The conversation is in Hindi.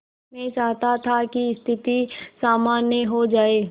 मैं चाहता था कि स्थिति सामान्य हो जाए